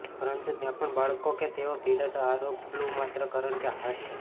પરંતુ ત્યાં પણ બાળકો કે જેઓ પીડાતા આ રોગ ફલૂ માત્ર કારણ કે હાર્ડ છે